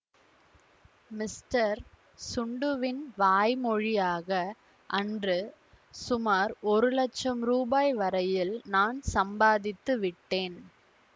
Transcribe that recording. mister சுண்டுவின் வாய் மொழியாக அன்று சுமார் ஒரு லட்சம் ரூபாய் வரையில் நான் சம்பாதித்து விட்டேன்